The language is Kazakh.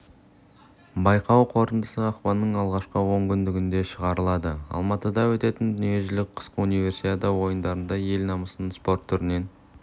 байқау қорытындысы ақпанның алғашқы онкүндігінде шығарылады алматыда өтетін дүниежүзілік қысқы универсиада ойындарында ел намысын спорт түрінен